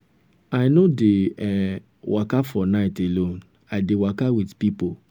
i no um dey um waka for night alone i i dey waka wit pipo.